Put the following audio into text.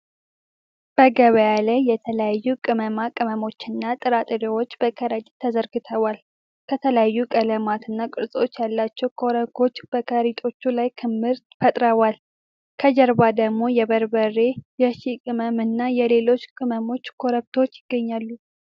በገበያ ላይ የተለያዩ ቅመማ ቅመሞችና ጥራጥሬዎች በከረጢት ተዘርግተዋል። ከተለያዩ ቀለማት እና ቅርጾች ያላቸው ኮረኮንች በከረጢቶቹ ላይ ክምር ፈጥረዋል። ከጀርባ ደግሞ የበርበሬ፣ የሺህ ቅመም እና የሌሎች ቅመሞች ኮረብታዎች ይገኛሉ።